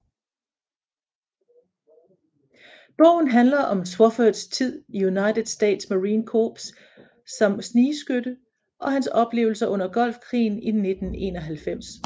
Bogen handler om Swoffords tid i United States Marine Corps som snigskytte og hans oplevelser under Golfkrigen i 1991